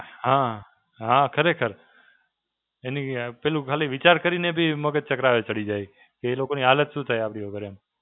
હાં, હાં, ખરેખર. એની અ પેલું ખાલી વિચાર કરીને બી મગજ ચકરાવે ચડી જાય. એ લોકોની હાલત શું થાય આપડી વગર એમ.